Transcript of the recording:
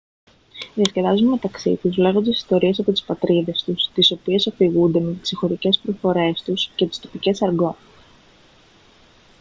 διασκεδάζουν μεταξύ τους λέγοντας ιστορίες από τις πατρίδες τους τις οποίες αφηγούνται με τις ξεχωριστές προφορές τους και τις τοπικές αργκό